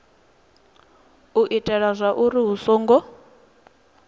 u itela zwauri hu songo